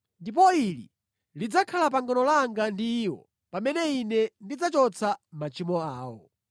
Ndipo ili lidzakhala pangano langa ndi iwo pamene Ine ndidzachotsa machimo awo.”